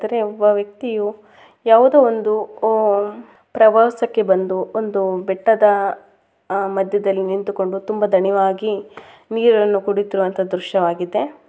ತಾರೇ ಒಬ್ಬ ವ್ಯಕ್ತಿಯು ಯಾವ್ದೋ ಒಂದು ಓ ಪ್ರವಾಸಕ್ಕೆ ಬಂದು ಬೆಟ್ಟದ ಅಹ್ ಮದ್ಯದಲ್ಲಿ ನಿಂತುಕೊಂಡು ತುಂಬ ದಣಿವಾಗಿ ನೀರಾನ್ನ ಕುಡೀತಿರುವಂತ ದೃಶ್ಯವಾಗಿದೆ.